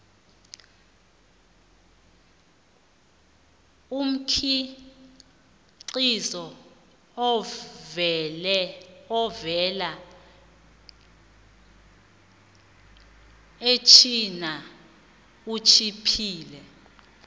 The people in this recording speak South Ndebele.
umkhiqizo ovela echina utjhiphile